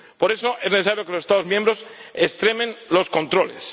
Por eso, es necesario que los Estados miembros extremen los controles.